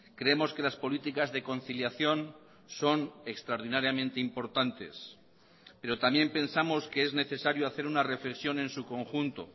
creemos que las políticas de conciliación son extraordinariamente importantes pero también pensamos que es necesario hacer una reflexión en su conjunto